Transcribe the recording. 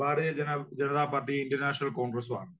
ഭാരതീയ ജനതാ പാർട്ടിയും Indian national കോൺഗ്രസും ആണ്.